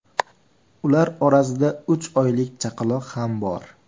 Ular orasida uch oylik chaqaloq ham bor.